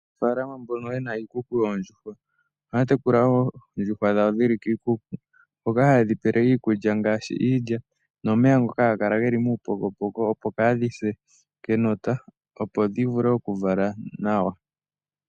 Aanafaalama mbono ye na iikuku yoondjuhwa, ohaya tekula wo oondjuhwa dhawo dhi li kiikuku mpoka haye dhi pele iikulya ngaashi iilya nomeya ngoka haga kala geli muupokopoko, opo kaadhi se kenota opo dhi vule okuvala nawa.